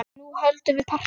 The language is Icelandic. Nú höldum við partí!